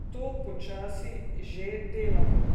To počasi že delajo.